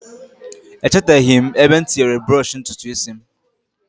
Echeteghi' m ebe m tinyere brọsh ntutu isi m